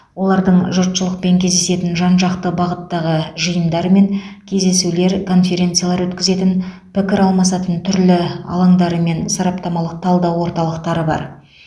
олардың жұртшылықпен кездесетін жан жақты бағыттағы жиындар мен кездесулер конференциялар өткізетін пікір алмасатын түрлі алаңдары мен сараптамалық талдау орталықтары бар